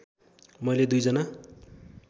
मैले दुई जना